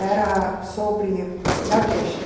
Era sobre Nordeste.